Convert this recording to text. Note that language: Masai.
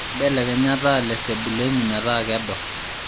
mbelekenya taa lesebuleni metaa kedo